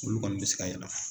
Olu kɔni bɛ se ka